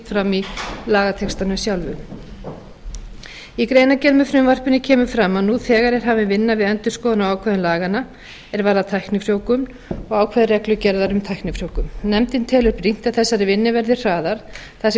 fram í lagatextanum sjálfum í greinargerð með frumvarpinu kemur fram að nú þegar er hafin vinna við endurskoðun á ákvæðum laganna er varða tæknifrjóvgun og ákvæði reglugerðar um tæknifrjóvgun nefndin telur brýnt að þessari vinnu verði hraðað þar sem